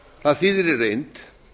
það þýðir í reynd